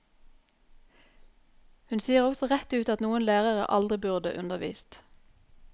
Hun sier også rett ut at noen lærere aldri burde undervist.